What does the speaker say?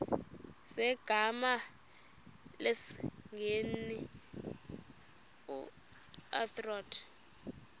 zegama lesngesn authorit